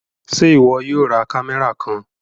Ṣe iwọ yóò rá kámẹ́rà kàn?